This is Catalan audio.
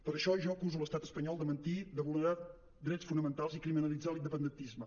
per això jo acuso l’estat espanyol de mentir de vulnerar drets fonamentals i criminalitzar l’independentisme